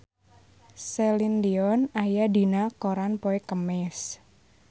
Celine Dion aya dina koran poe Kemis